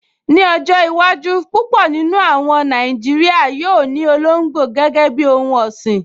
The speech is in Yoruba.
Ní ọjọ́ iwájú, púpọ̀ nínú àwọn Nàìjíríyà yóò ní olóngbò gẹ́gẹ́ bíi ohun ọ̀sìn